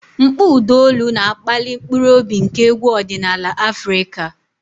Mkpọ ụda olu na-akpali mkpụrụ obi nke egwu ọdịnala Afrika.